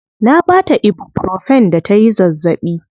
Na baa ta ibuprofen da tayi zazzaɓi.